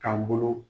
K'an bolo